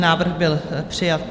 Návrh byl přijat.